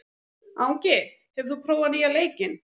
Angi, hefur þú prófað nýja leikinn?